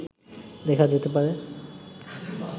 দেখা যেতে পারে